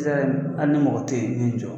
hali ni mɔgɔ tɛ i b'i jɔ.